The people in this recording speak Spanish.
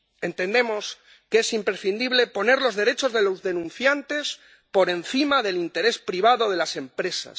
Entendemos que es imprescindible poner los derechos de los denunciantes por encima del interés privado de las empresas.